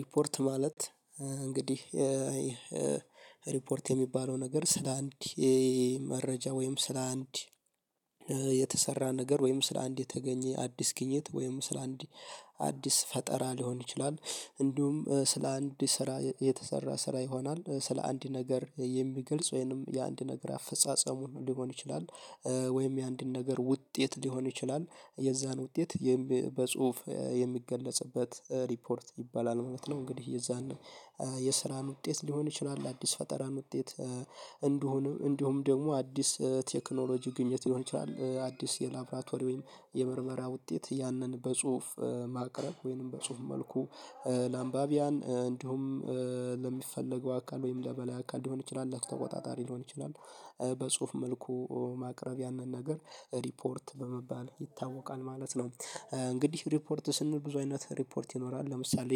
ሪፖርት ማለት እንግዲህ ሪፖርት የሚባለው ነገር ስለ አንድ መረጃ ወይም ስለ አንድ የተሰራ ነገር ወይም ስለ አንድ የተገኘ አዲስ ግኝት ወይም ስለ አንድ አዲስ ፈጠራ ሊሆን ይችላል እንዲሁም ስለ አንድ ስራ የተሰራ ስራ ይሆናል ስለ አንድ ነገር የሚገልጽ ወይንም የአንድ ነገር አፈጻጸሙ ሊሆን ይችላል ወይም የአንድን ነገር ውጤት ሊሆን ይችላል የዛን ውጤት የም በጽሁፍ የሚገለጽበት ሪፖርት ይባላል ማለት ነው። እንግዲህ የዛን የስራን ውጤት ሊሆን ይችላል አዲስ ፈጠራን ውጤት እንደሆነ እንደሁም ደግሞ አዲስ ቴክኖሎጂ ግኝት ሊሆን ይችላል አዲስ የላብራቶሪ ወይም የምርመራ ውጤት ያንን በጽሁፍ ማቅረብ ወይም በጽሁፍ መልኩ ለአንባቢያን እንዲሁም ለሚፈለገው አካል ወይም ለበላይ አካል ሊሆን ይችላል ለተቆጣጣሪ ሊሆን ይችላል በጽሁፍ መልኩ ማቅረብ ያንን ነገር ሪፖርት በመባል ይታወቃል ማለት ነው። እንግዲህ ሪፖርት ስንል ብዙ አይነት ሪፖርት ይኖራል ለምሳሌ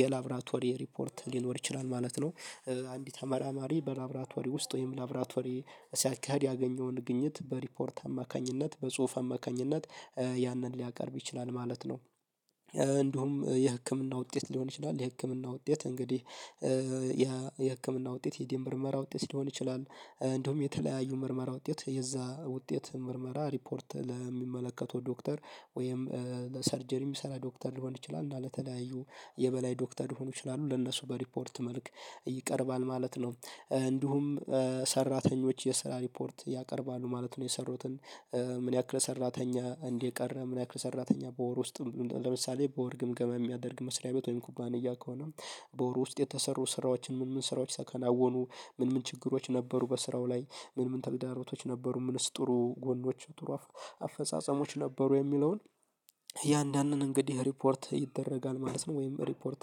የላብራቶሪ ሪፖርት ሊኖር ይችላል ማለት ነው። አንድ ተመራማሪ በላብራቶሪ ውስጥ ወይም ላብራቶሪ ሲያካሂድ ያገኘውን ግኝት በሪፖርት አማካኝነት በጽሁፍ አማካኝነት ያንን ሊያቀርብ ይችላል ማለት ነው። እንደውም የህክምና ውጤት ሊሆን ይችላል የህክምና ውጤት እንግዲህ የ የህክምና ውጤት የደም ምርመራ ውጤት ሊሆን ይችላል። እንዲውም የተለያዩ ምርመራ ውጤት የዛ ውጤት ምርመራ ሪፖርት ለሚመለከተው ዶክተር ወይም ለሰርጀሪ የሚሰራ ዶክተር ሊሆን ይችላል እና ለተለያዩ የበላይ ዶክተር ሊሆኑ ይችላሉ ለነሱ በሪፖርት መልክ ይቀርባል ማለት ነው። እንዲሁም ሰራተኞች የስራ ሪፖርት ያቀርባሉ ማለት ነው። የሰሩትን ምን ያክል ሰራተኛ እንዲህ ቀረ ምን ያክል ሰራተኛ በወር ውስጥ ለምሳሌ በወር ግምገማ የሚያደርግ መስሪያ ቤት ወይም ኩባንያ ከሆነ በወሩ ውስጥ የተሰሩ ስራዎችን ምን ምን ስራዎች ተከናወኑ ምን ምን ችግሮች ነበሩ በስራው ላይ ምን ምን ተግዳሮቶች ነበሩ ምንስ ጥሩ ጎኖች ጥሩ አፈጻጸሞች ነበሩ የሚለውን እያንዳንዱን እንግዲህ ሪፖርት ይደረጋል ማለት ነው ወይም ሪፖርት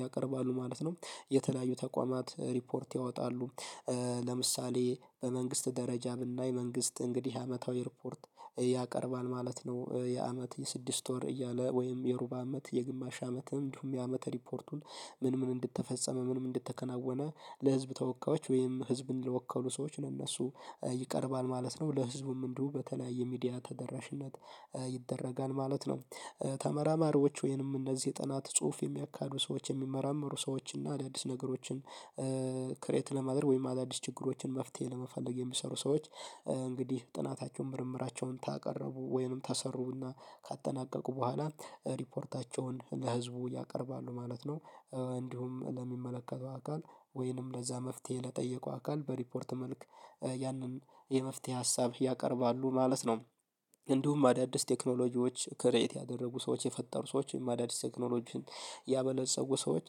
ያቀረባሉ ማለት ነው። የተለያዩ ተቋማት ሪፖርት ያወጣሉ። ለምሳሌ በመንግስት ደረጃ የምናይ መንግስት እንግዲህ አመታዊ ሪፖርት ያቀርባል ማለት ነው የአመት የስድስት ወር እያለ ወይም የሩባ አመት የግማሽ አመትም እንዲሁም የአመት ሪፖርቱን ምን ምን እንደተፈጸመ ምንም እንደተከናወነ ለህዝብ ተወካዮች ወይም ህዝብን ለወከሉ ሰዎች እነሱ ይቀርባል ማለት ነው ለህዝቡም እንዲሁ በተለያየ ሚዲያ ተደራሽነት ይደረጋል ማለት ነው። ተመራማሪዎች ወይንም እነዚህ ጥናት ጽሁፍ የሚያካዱ ሰዎች የሚመራመሩ ሰዎች እና አዳዲስ ነገሮችን ክሬት ለማድረግ ወይም አዳዲስ ችግሮችን መፍትሄ ለመፈለግ የሚሰሩ ሰዎች እንግዲህ ጥናታቸውን ምርምራቸውን ካቀረቡ ወይንም ታሰሩና ካጠናቀቁ በኋላ ሪፖርታቸውን ለህዝቡ ያቀርባሉ ማለት ነው። እንዲሁም ለሚመለከተው አካል ወይንም ለዛ መፍትሄ ለጠየቀው አካል በሪፖርት መልክ ያንን የመፍትሄ ሀሳብ ያቀርባሉ ማለት ነው። እንዲሁም አዳዲስ ቴክኖሎጂዎች ክሬት ያደረጉ ሰዎች የፈጠሩ ሰዎች ወይም አዳዲስ ቴክኖሎጂን ያበለጸጉ ሰዎች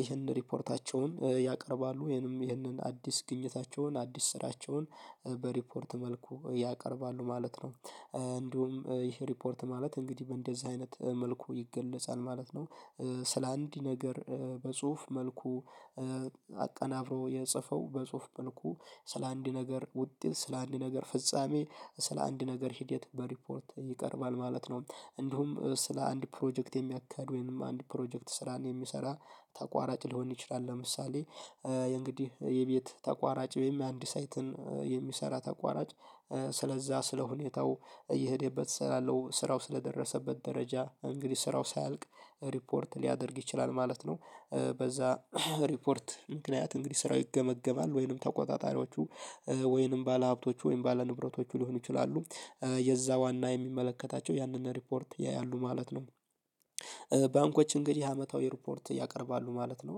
ይህንን ሪፖርታቸውን ያቀርባሉ ወይንም ይህንን አዲስ ግኝታቸውን አዲስ ስራቸውን በሪፖርት መልኩ ያቀርባሉ ማለት ነው እንዲሁም ይሄ ሪፖርት ማለት እንግዲህ በእንደዚህ አይነት መልኩ ይገለጻል ማለት ነው። ስለ አንድ ነገር በጽሁፍ መልኩ አቀናብሮ የጻፈው በጽሁፍ መልኩ ስለ አንድ ነገር ውጤት ስለ አንድ ነገር ፍጻሜ ስለ አንድ ነገር ሂደት በሪፖርት ይቀርባል ማለት ነው። እንዲሁም ስለ አንድ ፕሮጀክት የሚያካሂድ ወይንም አንድ ፕሮጀክት ስራን የሚሰራ ተቋራጭ ሊሆን ይችላል ለምሳሌ የእንግዲህ የቤት ተቋራጭ ወይም የአንድ ሳይትን የሚሰራ ተቋራጭ ስለዛ ስለ ሁኔታው እየሄደበት ስላለው ስራው ስለደረሰበት ደረጃ እንግዲህ ስራው ሳያልቅ ሪፖርት ሊያደርግ ይችላል ማለት ነው። በዛ ሪፖርት ምክንያት እንግዲህ ስራው ይገመገማል ወይንም ተቆጣጣሪዎቹ ወይንም ባለሀብቶቹ ወይንም ባለንብረቶቹ ሊሆኑ ይችላሉ የዛ ዋና የሚመለከታቸው ያንን ሪፖርት ያያሉ ማለት ነው። ባንኮች እንግዲህ አመታዊ ሪፖርት ያቀርባሉ ማለት ነው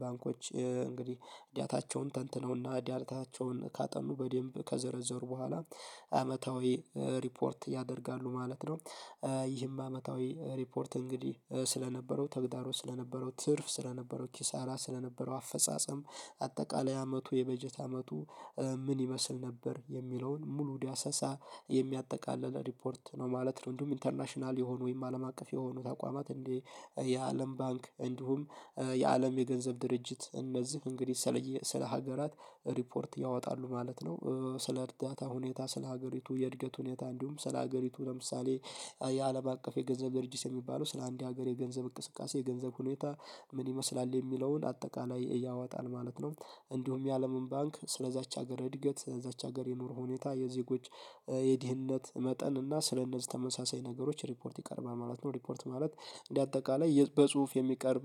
ባንኮች እንግዲህ ዳታቸውን ተንትነውና ዳታቸውን ካጠኑ በደንብ ከዘረዘሩ በኋላ አመታዊ ሪፖርት ያደርጋሉ ማለት ነው። ይህም አመታዊ ሪፖርት እንግዲህ ስለነበረው ተግዳሮ ስለነበረው ትርፍ ስለነበረው ኪሳራ ስለነበረው አፈጻጸም አጠቃላይ አመቱ የበጀት አመቱ ምን ይመስል ነበር የሚለውን ሙሉ ዳሰሳ የሚያጠቃልል ሪፖርት ነው ማለት ነው። እንዲሁም ኢንተርናሽናል የሆኑ ወይም አለም አቀፍ የሆኑ ተቋማት እንደ የአለም ባንክ እንዲሁም የአለም የገንዘብ ድርጅት እነዚህ እንግዲህ ስለ ሀገራት ሪፖርት ያወጣሉ ማለት ነው። ስለ እርዳታ ሁኔታ ስለ ሀገሪቱ የእድገት ሁኔታ እንዲሁም ስለ ሀገሪቱ ለምሳሌ የአለም አቀፍ የገንዘብ ድርጅት የሚባለው ስለአንድ ሀገር የገንዘብ እቅስቃሴ የገንዘብ ሁኔታ ምን ይመስላል የሚለውን አጠቃላይ ያወጣል ማለት ነው። እንዲሁም የአለምን ባንክ ስለዛች ሀገር እድገት እዛች ሀገር የኑሮ ሁኔታ የዜጎች የድህነት መጠን እና ስለእነዚህ ተመሳሳይ ነገሮች ሪፖርት ይቀርባል ማለት ነው ሪፖርት ማለት እንደ አጠቃላይ የበጽሁፍ የሚቀርብ